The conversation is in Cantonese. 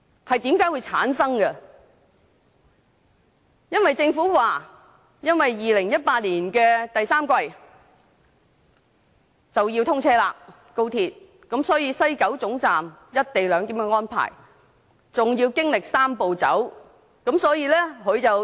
政府表示，高鐵將於2018年第三季通車，而西九高鐵總站的"一地兩檢"安排還要以"三步走"方式落實。